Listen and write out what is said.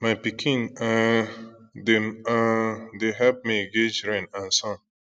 my pikin um dem um dey help me guage rain and sun